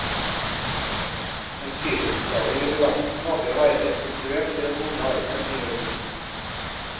Den friluftsglade jubilanten håper å være restituert i den vonde armen i august.